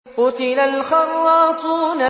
قُتِلَ الْخَرَّاصُونَ